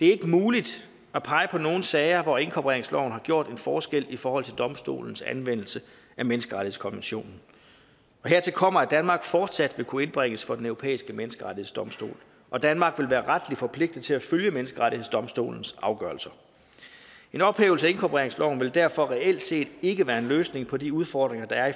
det er ikke muligt at pege på nogen sager hvor inkorporeringsloven har gjort en forskel i forhold til domstolenes anvendelse af menneskerettighedskonventionen hertil kommer at danmark fortsat vil kunne indbringes for den europæiske menneskerettighedsdomstol og danmark vil være retligt forpligtet til at følge menneskerettighedsdomstolens afgørelser en ophævelse af inkorporeringsloven vil derfor reelt set ikke være en løsning på de udfordringer der er